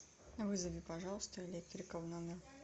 вызови пожалуйста электрика в номер